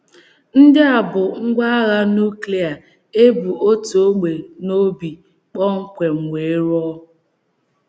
“ Ndị a bụ ngwá agha nùklia e bu otu ógbè n’obi kpọmkwem wee rụọ. ”